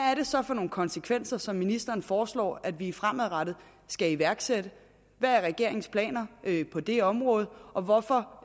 er det så for nogle konsekvenser som ministeren foreslår at vi fremadrettet skal iværksætte hvad er regeringens planer på det område og hvorfor